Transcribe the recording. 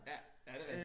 Ja ja det rigtigt